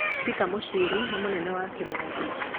Peter Muchiri nĩ mũnene wa Kimathi.